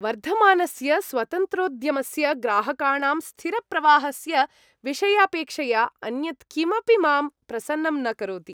वर्धमानस्य स्वतन्त्रोद्यमस्य, ग्राहकाणां स्थिरप्रवाहस्य विषयापेक्षया अन्यत् किमपि मां प्रसन्नं न करोति ।